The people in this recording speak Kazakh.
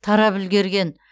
тарап үлгерген